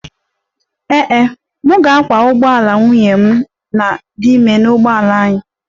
Ee e, m ga-akwọ ụgbọala nwunye m dị ime n'ụgbọala anyị